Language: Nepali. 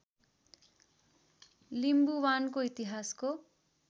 लिम्बुवानको इतिहासको